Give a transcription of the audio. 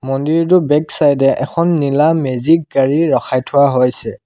মন্দিৰটোৰ back side এ এখন নীলা মেজিক গাড়ী ৰখাই থোৱা হৈছে।